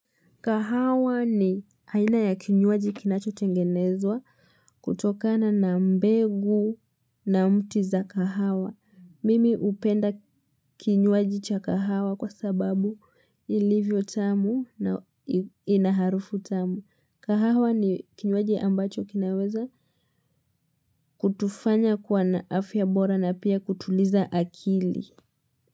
Kahawa ni aina ya kinywaji kinachotengenezwa kutokana na mbegu na mti za kahawa. Mimi upenda kinywaji cha kahawa kwa sababu ilivyo tamu na ina harufu tamu. Kahawa ni kinywaji ambacho kinaweza kutufanya kuwa na afya bora na pia kutuliza akili.